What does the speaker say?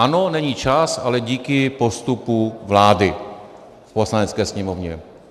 Ano, není čas, ale díky postupu vlády v Poslanecké sněmovně.